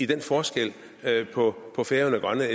den forskel på på færøerne og grønland